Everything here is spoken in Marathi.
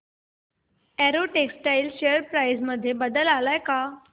अॅरो टेक्सटाइल्स शेअर प्राइस मध्ये बदल आलाय का